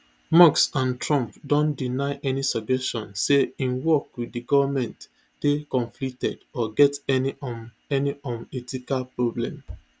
musk and trump don deny any suggestion say im work wit di goment dey conflicted or get any um any um ethical problem